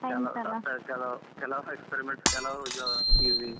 ಕೆಲವ್ experiments ಕೆಲವ್ easy ಹಾಗೆ.